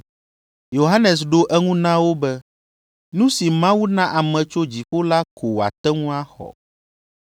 Yohanes ɖo eŋu na wo be, “Nu si Mawu na ame tso dziƒo la ko wòate ŋu axɔ.